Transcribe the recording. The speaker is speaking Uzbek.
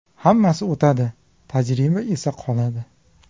Hammasi o‘tadi, tajriba esa qoladi.